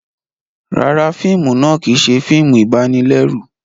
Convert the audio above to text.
Ràrá, fíìmù náà kìí ṣe fíìmù ibanilẹru